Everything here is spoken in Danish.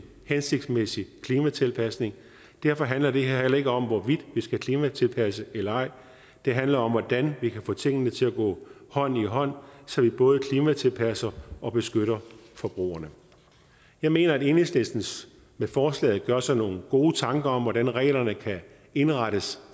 hensigtsmæssig klimatilpasning derfor handler det her heller ikke om hvorvidt vi skal klimatilpasse eller ej det handler om hvordan vi kan få tingene til at gå hånd i hånd så vi både klimatilpasser og beskytter forbrugerne jeg mener at enhedslisten med forslaget gør sig nogle gode tanker om hvordan reglerne kan indrettes